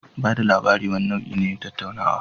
Ba da labari wani nau'i ne na tattaunawa.